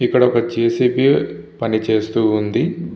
ఇక్కడ ఒక J. C. B. పని చేస్తునాటు ఉంది.